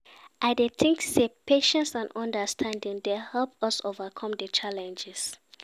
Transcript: I dey think say patience and understanding dey help us overcome di challenges.